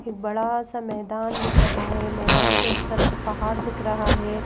एक बड़ा सा मैदान दिख रहा है मैदान के उस तरफ पहाड़ दिख रहा है।